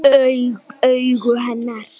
Augu hennar.